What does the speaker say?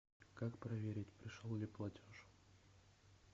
как проверить пришел ли платеж